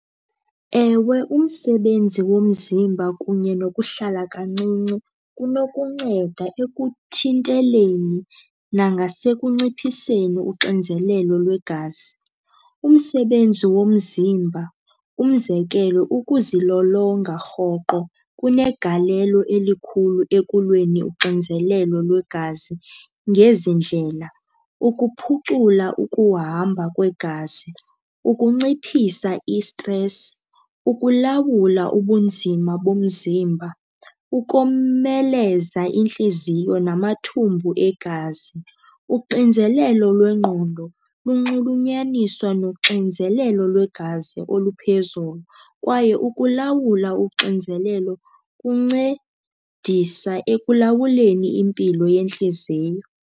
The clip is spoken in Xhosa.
Ewe, umsebenzi womzimba kunye nokuhlala kancinci kunokunceda ekuthinteleni nangasekunciphiseni uxinzelelo lwegazi. Umsebenzi womzimba, umzekelo, ukuzilolonga rhoqo kunegalelo elikhulu ekulweni uxinzelelo lwegazi ngezi ndlela, ukuphucula ukuhamba kwegazi, ukunciphisa isitresi, ukulawula ubunzima bomzimba, ukomeleza intliziyo namathumbu egazi. Uxinzelelo lwengqondo lunxulunyaniswa noxinzelelo lwegazi oluphezulu kwaye ukulawula uxinzelelo kuncedisa ekulawuleni impilo yentliziyo.